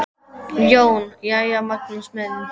JÓN: Jæja, Magnús minn!